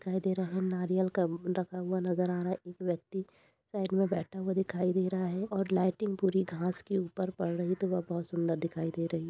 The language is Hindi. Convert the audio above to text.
दिखाई दे रहा है नारियल का वो रखा हुआ नज़र आ रहा है एक व्यक्ति साइड में बैठा हुआ दिखाई दे रहा है और लाइटिंग पूरी घास के ऊपर पड़ रही तो वो बहुत सुन्दर दिखाई दे रही।